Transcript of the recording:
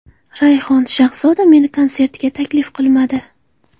Rayhon: Shahzoda meni konsertiga taklif qilmadi.